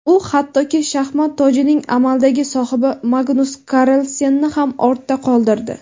U hattoki shaxmat tojining amaldagi sohibi Magnus Karlsenni ham ortda qoldirdi.